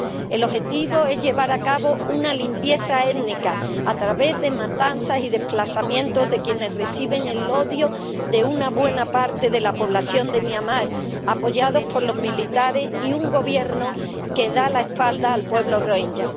El objetivo es llevar a cabo una limpieza étnica a través de matanzas y desplazamientos de quienes reciben el odio de una buena parte de la población de Myanmar, apoyados por los militares y un gobierno que da la espalda al pueblo rohinyá.